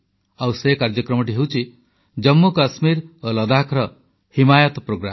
ଆଉ ସେହି କାର୍ଯ୍ୟକ୍ରମଟି ହେଉଛି ଜମ୍ମୁକଶ୍ମୀର ଓ ଲଦାଖର ହିମାୟତ ପ୍ରୋଗ୍ରାମ